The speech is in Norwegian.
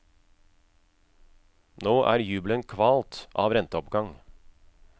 Nå er jubelen kvalt av renteoppgang.